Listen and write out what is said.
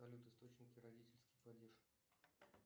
салют источники родительский падеж